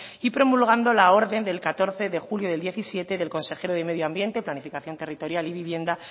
y promulgando la orden del catorce de julio de dos mil diecisiete del consejero del medio ambiente planificación territorial y vivienda